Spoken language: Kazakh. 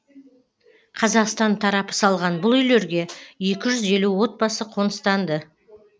қазақстан тарапы салған бұл үйлерге екі жүз елу отбасы қоныстанды